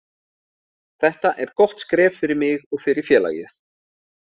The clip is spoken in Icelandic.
Þetta er gott skref fyrir mig og fyrir félagið.